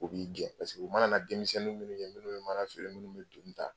U b'i jɛ pareke u mana demisɛnnin minnu ye minnu bɛ mana feere minnu bɛ donni ta